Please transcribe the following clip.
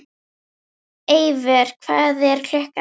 Eivör, hvað er klukkan?